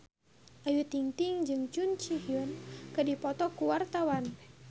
Ayu Ting-ting jeung Jun Ji Hyun keur dipoto ku wartawan